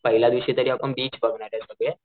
पहिल्या दिसशी तरी आपण बीच बघणारे सगळे,